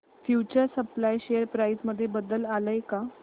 future supply share price मध्ये बदल आलाय का